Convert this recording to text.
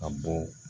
A bɔ